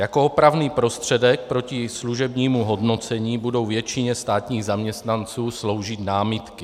Jako opravný prostředek proti služebnímu hodnocení budou většině státních zaměstnanců sloužit námitky.